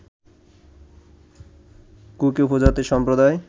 cookie উপজাতি সম্প্রদায়